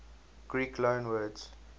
greek loanwords